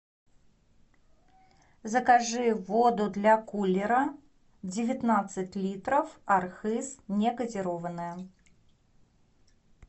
закажи воду для кулера девятнадцать литров архыз негазированная